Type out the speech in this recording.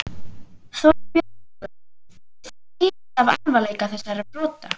Þorbjörn Þórðarson: Og það skýrist af alvarleika þessara brota?